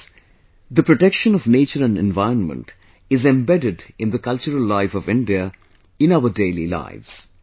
Friends, the protection of nature and environment is embedded in the cultural life of India, in our daily lives